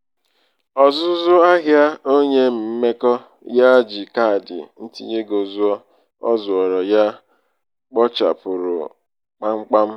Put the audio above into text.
um ọzụzụ ọzụzụ ahịa onye mmekọ ya ji kaadị ntinyeego zụọ o zooro um ya kpochapụrụ kpamkpam